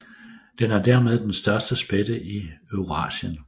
Den er dermed den største spætte i Eurasien